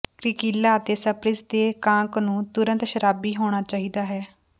ਕ੍ਰੀਕਿਲਾ ਅਤੇ ਸਪ੍ਰਿਸਟ ਦੇ ਕਾਕ ਨੂੰ ਤੁਰੰਤ ਸ਼ਰਾਬੀ ਹੋਣਾ ਚਾਹੀਦਾ ਹੈ